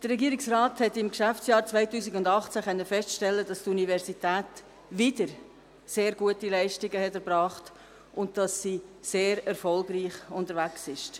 Der Regierungsrat konnte im Geschäftsjahr 2018 feststellen, dass die Universität wieder sehr gute Leistungen erbracht hat und dass sie sehr erfolgreich unterwegs ist.